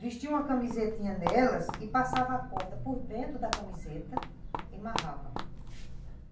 Vestia uma camisetinha nelas e passava a corda por dentro da camiseta e amarrava.